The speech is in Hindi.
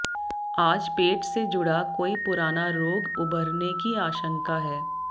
आज पेट से जुड़ा कोई पुराना रोग उभरने की आशंका है